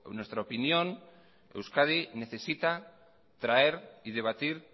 nuestra opinión euskadi necesita traer y debatir